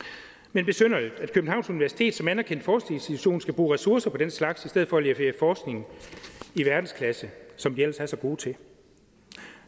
men besynderligt at københavns universitet som anerkendt forskningsinstitution skal bruge ressourcer på den slags i stedet for at levere forskning i verdensklasse som de ellers er så gode til